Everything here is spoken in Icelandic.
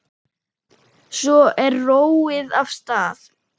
Svo er róið af stað.